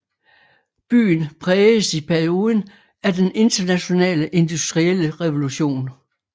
Byen prægedes i perioden af den internationale industrielle revolution